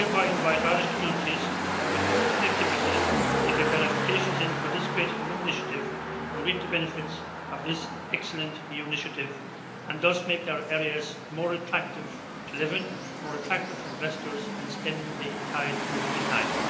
I hereby invite Irish communities with poor connectivity to get their applications in for this great new initiative and reap the benefits of this excellent EU initiative, and thus make their areas more attractive to live in, more attractive for investors, and stem the tide of rural decline.